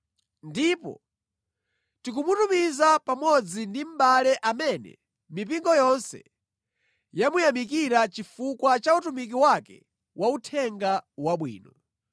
Ndipo tikumutumiza pamodzi ndi mʼbale amene mipingo yonse yamuyamikira chifukwa cha utumiki wake wa Uthenga Wabwino.